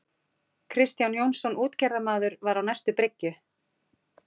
Kristján Jónsson útgerðarmaður var á næstu bryggju.